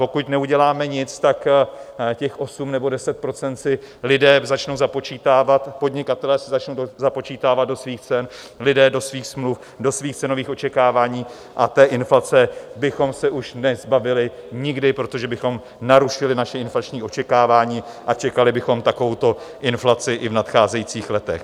Pokud neuděláme nic, tak těch 8 nebo 10 % si lidé začnou započítávat, podnikatelé si začnou započítávat do svých cen, lidé do svých smluv, do svých cenových očekávání a té inflace bychom se už nezbavili nikdy, protože bychom narušili naše inflační očekávání a čekali bychom takovouto inflaci i v nadcházejících letech.